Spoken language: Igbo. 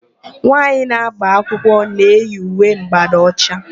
Nwaanyị na-agba akwụkwọ na-eyi uwe ḿgbádà ọcha.